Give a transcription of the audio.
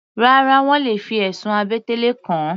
Rárá, wọ́n le fi ẹ̀sùn àbẹ̀tẹ́lẹ̀ kàn ọ́.